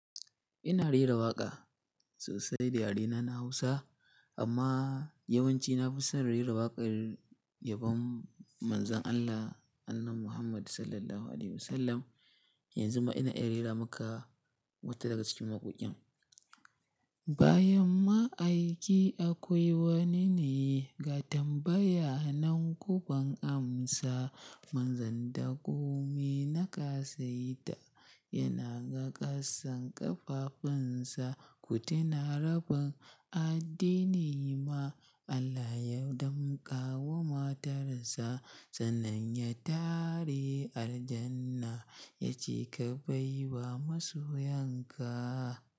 Ina rera waƙa sosai da yarena na Hausa, amma yawanci na fi son rera waƙar yabon Manzon Allah, Annabi Muhammad Sallallahu Alaihi Wasallam. Yanzu ma ina iya rera maka wata daga cikin waƙoƙin. Bayan ma'aiki akwai wani ne ga tambaya nan kuban amsa. Manzon da komai na ƙasaita yana ga ƙasan ƙafafunsa. Ku tuna rabin addini ma Allah ya damƙa wa matarsa. Sannan ya tare al Jannah ya ce ka baiwa masoyan ka.